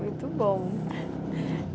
Muito bom.